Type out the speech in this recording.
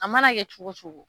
A mana kɛ cogo o cogo